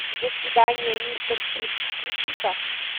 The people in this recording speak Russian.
до свидания мистер чипс включи ка